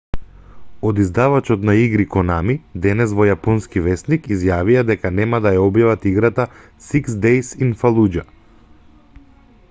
од издавачот на игри конами денес во јапонски весник изјавија дека нема да ја објават играта six days in fallujah